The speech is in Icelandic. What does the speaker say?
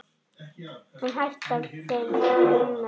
Hún hætti fyrir rúmu ári.